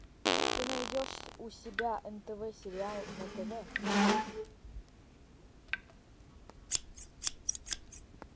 ты найдешь у себя нтв сериал на тв